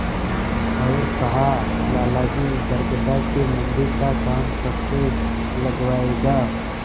और कहालाला जी बरगदा के मन्दिर का काम कब से लगवाइएगा